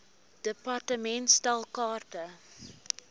department stel kaarte